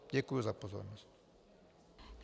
Děkuji za pozornost.